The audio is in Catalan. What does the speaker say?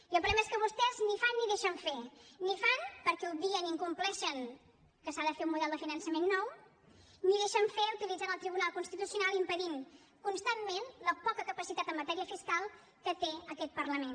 i el problema és que vostès ni fan ni deixen fer ni fan perquè obvien incompleixen que s’ha de fer un model de finançament nou ni deixen fer utilitzant el tribunal constitucional impedint constantment la poca capacitat en matèria fiscal que té aquest parlament